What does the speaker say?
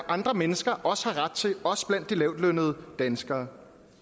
andre mennesker også har ret til også blandt de lavtlønnede danskere